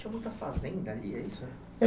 Tinha muita fazenda ali, é isso?